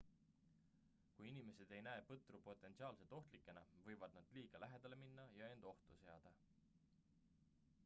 kui inimesed ei näe põtru potentsiaalselt ohtlikena võivad nad liiga lähedale minna ja end ohtu seada